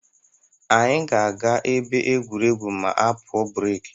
Anyị ga-aga ebe egwuregwu ma a pụọ breki.